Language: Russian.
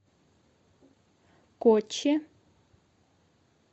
коччи